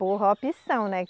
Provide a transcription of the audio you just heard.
Por opção, né?